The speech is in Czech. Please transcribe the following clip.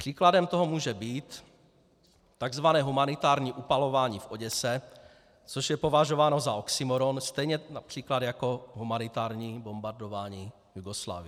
Příkladem toho může být tzv. humanitární upalování v Oděse, což je považováno za oxymóron, stejně například jako humanitární bombardování Jugoslávie.